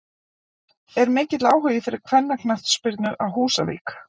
Er mikill áhugi fyrir kvennaknattspyrnu á Húsavík?